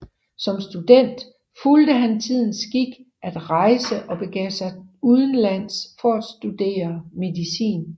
Som student fulgte han tidens skik at rejse og begav sig udenlands for at studere medicin